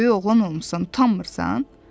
Böyük oğlan olmusan, utanmırsan?